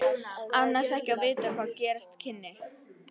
Annars ekki að vita hvað gerast kynni.